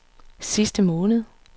sidste måned